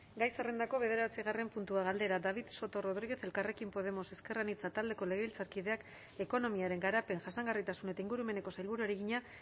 gai zerrendako bederatzigarren puntua galdera david soto rodríguez elkarrekin podemos ezker anitza taldeko legebiltzarkideak ekonomiaren garapen jasangarritasun eta ingurumeneko sailburuari egina